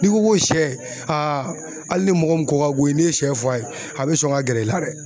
N'i ko ko sɛ aa ali ne mɔgɔ min ko ka go i ye ne ye sɛ f'a ye a be sɔn ka gɛrɛ i la dɛ